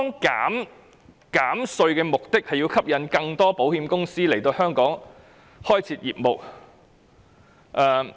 減稅的目的是為吸引更多保險公司來香港開設業務。